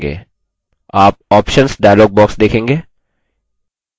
आप options dialog box देखेंगे